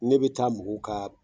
Ne bɛ taa mɔgɔw ka